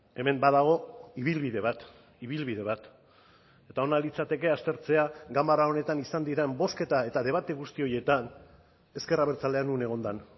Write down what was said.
hemen badago ibilbide bat ibilbide bat eta ona litzateke aztertzea ganbara honetan izan diren bozketa eta debate guzti horietan ezker abertzalea non egon den